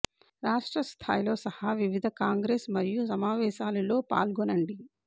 రాష్ట్ర స్థాయిలో సహా వివిధ కాంగ్రెస్ మరియు సమావేశాలు లో పాల్గొనండి